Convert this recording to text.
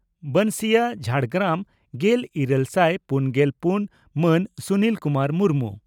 ᱵᱚᱱᱥᱤᱭᱟᱹ ᱡᱷᱟᱲᱜᱨᱟᱢ᱾ᱜᱮᱞ ᱤᱨᱟᱹᱞ ᱥᱟᱭ ᱯᱩᱱᱜᱮᱞ ᱯᱩᱱ ᱢᱟᱱ ᱥᱩᱱᱤᱞ ᱠᱩᱢᱟᱨ ᱢᱩᱨᱢᱩ